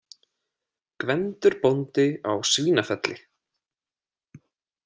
Gvendur bóndi á Svínafelli.